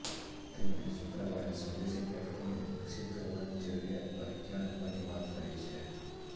તેમણે શુક્રવારે સ્વદેશી પ્લેટફોર્મને વિકસીત કરવાની જરૂરીયાત પર ધ્યાન આપવાની વાત કરી છે